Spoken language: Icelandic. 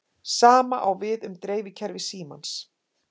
Sama á við um dreifikerfi símans.